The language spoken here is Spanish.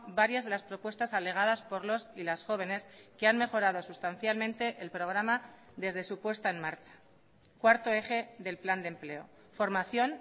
varias de las propuestas alegadas por los y las jóvenes que han mejorado sustancialmente el programa desde su puesta en marcha cuarto eje del plan de empleo formación